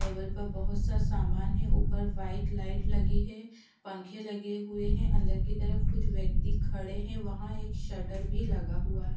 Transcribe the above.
table पे बहोत सा समान है ऊपर व्हाइट लाइट लगी है पंखे लगे हुए हैं अंदर की तरफ कुछ व्यक्ति खड़े हैं वहां एक शटर भी लगा हुआ--